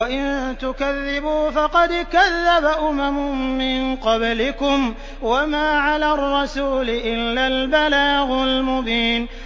وَإِن تُكَذِّبُوا فَقَدْ كَذَّبَ أُمَمٌ مِّن قَبْلِكُمْ ۖ وَمَا عَلَى الرَّسُولِ إِلَّا الْبَلَاغُ الْمُبِينُ